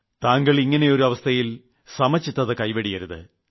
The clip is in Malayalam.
താങ്കൾ ഇങ്ങനെയൊരു അവസ്ഥയിൽ സന്തുലനം നഷ്ടപ്പെടുത്തരുത്